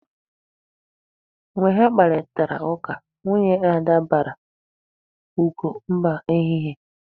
Mgbe ha kparịtara ụka, nwunye Ada baara Ugo mba n'ehihie.